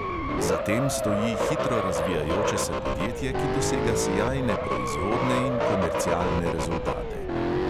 Za tem stoji hitro razvijajoče se podjetje, ki dosega sijajne proizvodne in komercialne rezultate.